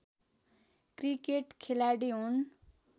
cricket खेलाडी हुन्